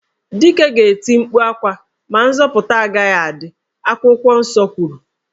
Dike ga-eti mkpu ákwà ma nzọputa agaghị adị, akwụkwọ nsọ kwuru